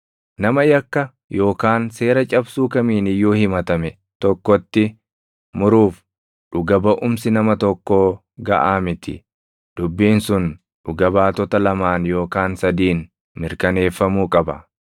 Nama yakka yookaan seera cabsuu kamiin iyyuu himatame tokkotti muruuf dhuga baʼumsi nama tokkoo gaʼaa miti. Dubbiin sun dhuga baatota lamaan yookaan sadiin mirkaneeffamuu qaba.